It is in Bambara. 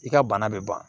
I ka bana bɛ ban